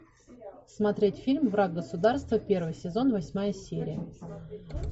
смотреть фильм враг государства первый сезон восьмая серия